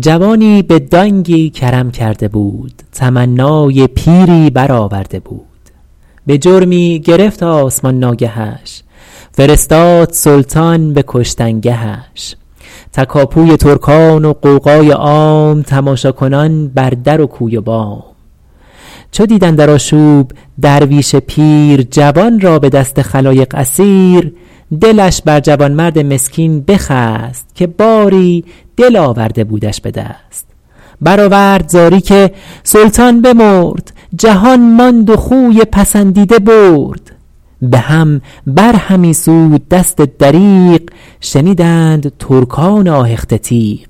جوانی به دانگی کرم کرده بود تمنای پیری بر آورده بود به جرمی گرفت آسمان ناگهش فرستاد سلطان به کشتنگهش تکاپوی ترکان و غوغای عام تماشاکنان بر در و کوی و بام چو دید اندر آشوب درویش پیر جوان را به دست خلایق اسیر دلش بر جوانمرد مسکین بخست که باری دل آورده بودش به دست برآورد زاری که سلطان بمرد جهان ماند و خوی پسندیده برد به هم بر همی سود دست دریغ شنیدند ترکان آهخته تیغ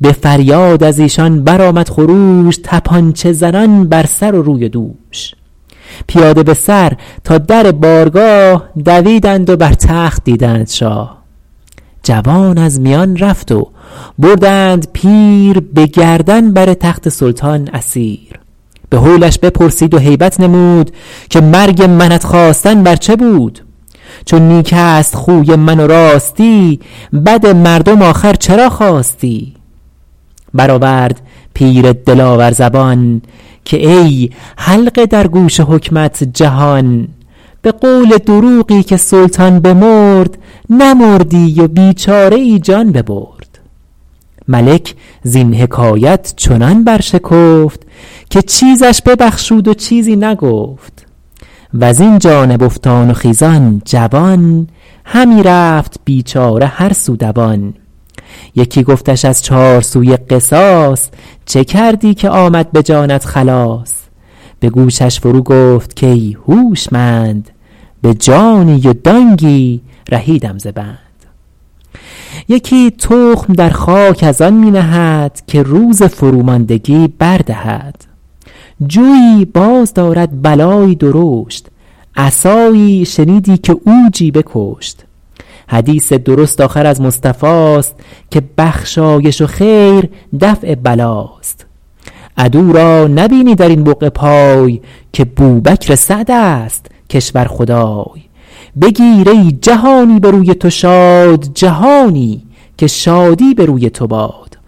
به فریاد از ایشان بر آمد خروش تپانچه زنان بر سر و روی و دوش پیاده به سر تا در بارگاه دویدند و بر تخت دیدند شاه جوان از میان رفت و بردند پیر به گردن بر تخت سلطان اسیر به هولش بپرسید و هیبت نمود که مرگ منت خواستن بر چه بود چو نیک است خوی من و راستی بد مردم آخر چرا خواستی برآورد پیر دلاور زبان که ای حلقه در گوش حکمت جهان به قول دروغی که سلطان بمرد نمردی و بیچاره ای جان ببرد ملک زین حکایت چنان بر شکفت که چیزش ببخشید و چیزی نگفت وز این جانب افتان و خیزان جوان همی رفت بیچاره هر سو دوان یکی گفتش از چار سوی قصاص چه کردی که آمد به جانت خلاص به گوشش فرو گفت کای هوشمند به جانی و دانگی رهیدم ز بند یکی تخم در خاک از آن می نهد که روز فرو ماندگی بر دهد جوی باز دارد بلایی درشت عصایی شنیدی که عوجی بکشت حدیث درست آخر از مصطفاست که بخشایش و خیر دفع بلاست عدو را نبینی در این بقعه پای که بوبکر سعد است کشور خدای بگیر ای جهانی به روی تو شاد جهانی که شادی به روی تو باد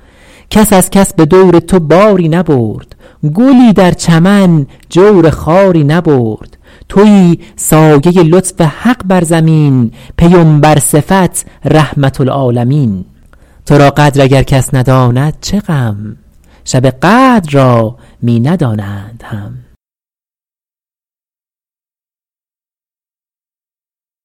کس از کس به دور تو باری نبرد گلی در چمن جور خاری نبرد تویی سایه لطف حق بر زمین پیمبر صفت رحمة للعالمین تو را قدر اگر کس نداند چه غم شب قدر را می ندانند هم